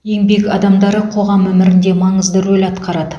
еңбек адамдары қоғам өмірінде маңызды рөл атқарады